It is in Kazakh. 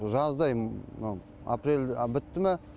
жаздай мына апрель бітті мә